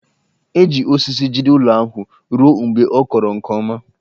E ji osisi jide ụlọ ahụ ruo mgbe ọ kọrọ nke ọma